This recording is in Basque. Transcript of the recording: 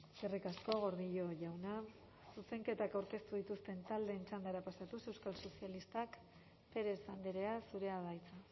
eskerrik asko gordillo jauna zuzenketak aurkeztu dituzten taldeen txandara pasatuz euskal sozialistak pérez andrea zurea da hitza